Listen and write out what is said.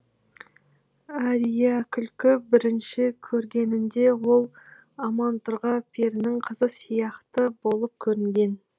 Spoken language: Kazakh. әриякүлді бірінші көргенінде ол амантұрға перінің қызы сияқты болып көрінген